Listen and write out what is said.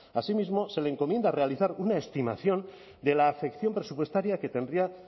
así mismo se le encomienda realizar una estimación de la afección presupuestaria que tendría